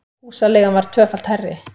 Húsaleigan var tvöfalt hærri